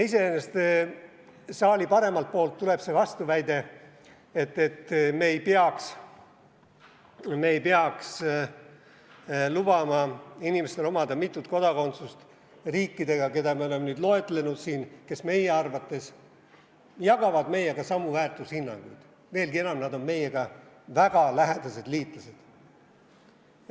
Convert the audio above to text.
Saali paremalt poolt tuleb vastuväide, et me ei peaks lubama inimestel omada mitut kodakondsust riikidega, keda me oleme siin loetlenud, kes meie arvates jagavad meiega samu väärtushinnanguid, veelgi enam, nad on meie väga lähedased liitlased.